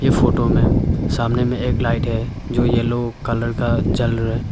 Photo में सामने में एक लाइट है जो येलो कलर का जल रहा है।